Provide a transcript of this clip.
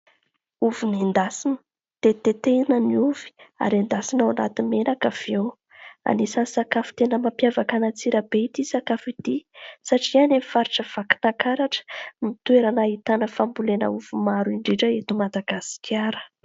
Ovy nendasina. Tetitetehana ny ovy, ary endasina anaty menaka avy eo. Anisan'ny sakafo tena mampiavaka an'Antsirabe ity sakafo ity, satria any amin'ny faritra Vakinankaratra no toerana ahitana fambolena ovy maro indrindra eto Madagasikara.